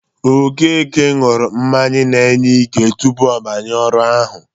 Okeke ṅụrụ mmanya na-enye ike tupu ọ banye ọrụ ahụ.